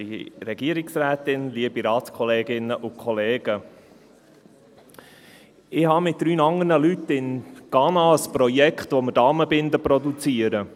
Ich habe mit drei anderen Leuten zusammen in Ghana ein Projekt, in dem wir Damenbinden produzieren.